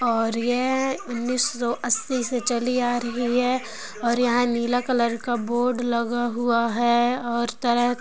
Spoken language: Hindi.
और ये उनीशो आससी से चली आ रही है और यहा नीला कलर के बोर्ड लगा हुआ है और तरह--